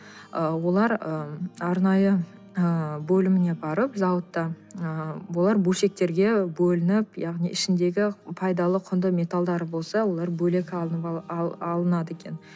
ы олар ы арнайы ы бөліміне барып зауытта ы олар бөлшектерге бөлініп яғни ішіндегі пайдалы құнды металдары болса олар бөлек алынады екен